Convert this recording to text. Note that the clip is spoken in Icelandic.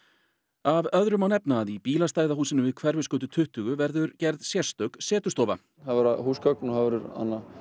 af öðru má nefna að í bílastæðahúsinu við Hverfisgötu tuttugu verður gerð sérstök setustofa það verða húsgögn